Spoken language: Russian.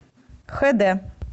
хд